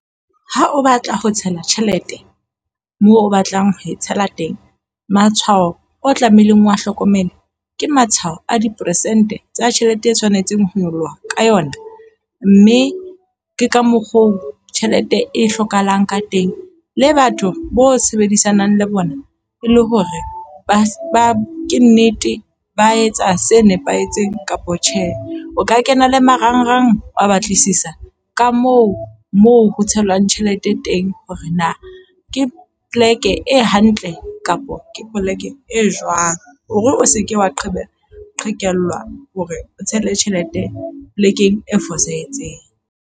Ha o batla ho tshela tjhelete moo o batlang ho tshela teng, matshwao o tlamehileng o a hlokomela ke matshwao a diperesente tsa tjhelete e tshwanetseng ho nyoloha ka yona. Mme ke ka mokgo tjhelete e hlokahalang ka teng le batho bo sebedisanang le bona, e le hore ba ba ke nnete ba etsa se nepahetseng kapa tjhe. O ka kena le marangrang a batlisisa ka moo moo ho tshelwang tjhelete e teng, hore na ke poleke e hantle kapa ke poleke e jwang. Hore o se ke wa gqebera qhekellwa hore o tshele tjhelete polekeng e fosahetseng.